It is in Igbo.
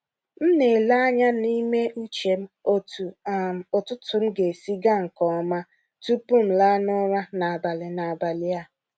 M na-ele anya n’ime uche m otú um ụtụtụ m ga-esi gaa nke ọma tupu m laa n’ụra n’abalị n’abalị a.